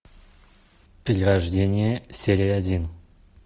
перерождение серия один